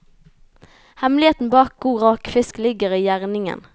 Hemmeligheten bak god rakefisk ligger i gjæringen.